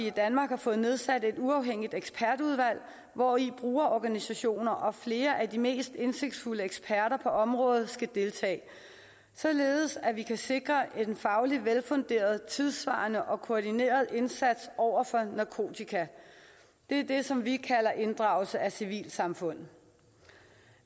i danmark har fået nedsat et uafhængigt ekspertudvalg hvori brugerorganisationer og flere af de mest indsigtsfulde eksperter på området skal deltage således at vi kan sikre en fagligt velfunderet tidssvarende og koordineret indsats over for narkotika det er det som vi kalder inddragelse af civilsamfundet